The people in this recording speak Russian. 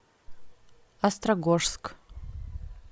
острогожск